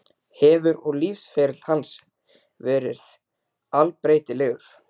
Hefur og lífsferill hans verið allbreytilegur.